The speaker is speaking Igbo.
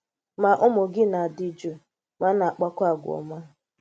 Má ùmụ́ gị̀ na-adị̀ jụụ̀ ma na-àkpakwà àgwà́ ọ́ma.